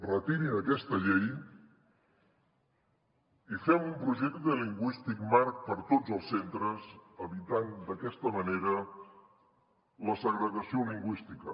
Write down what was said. retirin aquesta llei i fem un projecte lingüístic marc per a tots els centres evitant d’aquesta manera la segregació lingüística